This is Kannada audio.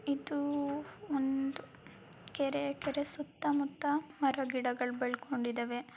ಇದು ಒಂದು ಕೆರೆ ಕೆರೆ ಸುತ್ತಮುತ್ತ ಮರ-ಗಿಡಗಳು ಬೆಳಕೊಂಡಿದ್ದವೆ.